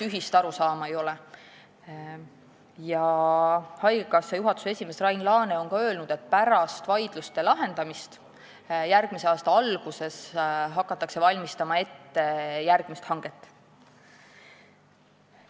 Haigekassa juhatuse esimees Rain Laane on ka öelnud, et pärast vaidluste lahendamist järgmise aasta alguses hakatakse järgmist hanget ette valmistama.